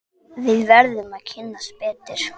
Við verðum að kynnast betur.